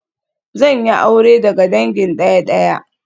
Zan yi aure daga dangin daya-daya